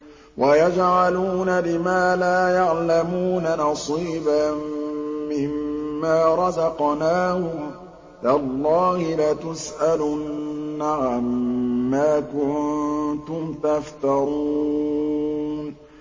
وَيَجْعَلُونَ لِمَا لَا يَعْلَمُونَ نَصِيبًا مِّمَّا رَزَقْنَاهُمْ ۗ تَاللَّهِ لَتُسْأَلُنَّ عَمَّا كُنتُمْ تَفْتَرُونَ